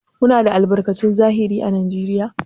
Muna da albarkatun zahiri à Najeriya?